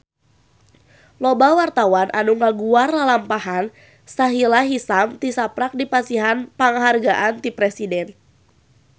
Loba wartawan anu ngaguar lalampahan Sahila Hisyam tisaprak dipasihan panghargaan ti Presiden